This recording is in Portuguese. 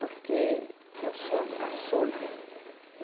Porque eu sou a caçula.